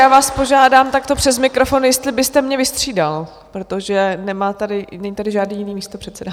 Já vás požádám takto přes mikrofon, jestli byste mě vystřídal, protože není tady žádný jiný místopředseda.